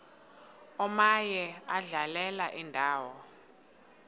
omaye adlale indawo